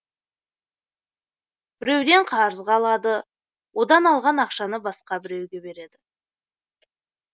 біреуден қарызға алады одан алған ақшаны басқа біреуге береді